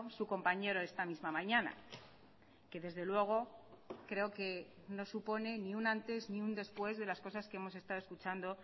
su compañero esta misma mañana que desde luego creo que no supone ni un antes ni un después de las cosas que hemos estado escuchando